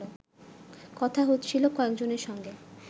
কথা হচ্ছিল কয়েকজনের সঙ্গে